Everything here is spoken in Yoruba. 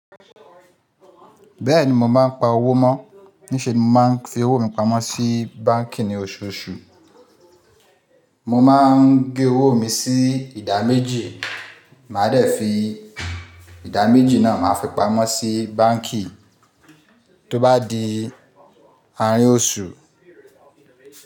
Bẹ́ẹ̀ni mò mọ̀ n pa owó mọ̀, níṣe ni mò ń fi owó mi pamọ́ sí báǹkì ní oṣooṣù. Mò máa n gé owó mi sí ìdá méjì, màá dẹ̀ fi ìdá méjì náà máa fi pamọ́ sí báǹkì tó bá di àárín oṣù.